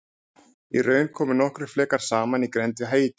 í raun koma nokkrir flekar saman í grennd við haítí